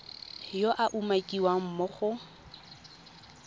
yo a umakiwang mo go